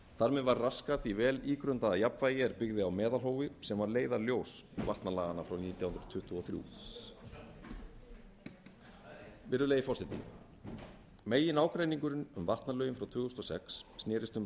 þar með var raskað því vel ígrundaða jafnvægi er byggði á meðalhófi sem var leiðarljós vatnalaganna frá nítján hundruð tuttugu og þrjú virðulegi forseti meginágreiningurinn um vatnalögin frá tvö þúsund og sex snerist um